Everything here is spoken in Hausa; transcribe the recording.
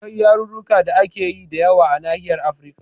Akwai yarurruka da ake yi da yawa a Nahiyar Afrika